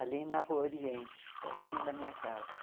Ali na Rua Oriente, pertinho da minha casa.